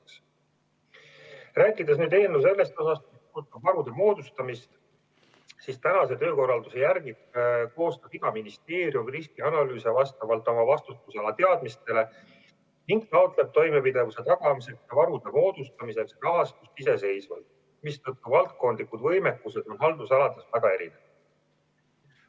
Kui rääkida eelnõu sellest osast, mis puudutab varude moodustamist, siis praeguse töökorralduse järgi koostab iga ministeerium riskianalüüse vastavalt oma vastutusala teadmistele ning taotleb toimepidevuse tagamiseks ja varude moodustamiseks rahastust iseseisvalt, mistõttu valdkondlikud võimekused on haldusalades väga erinevad.